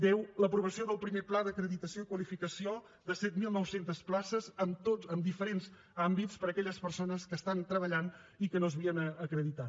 deu l’aprovació del primer pla d’acreditació i qualificació de set mil nou cents places en diferents àmbits per a aquelles persones que treballen i que no s’havien acreditat